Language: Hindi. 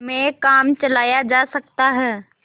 में काम चलाया जा सकता है